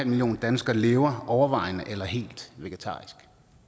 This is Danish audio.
million danskere lever overvejende eller helt vegetarisk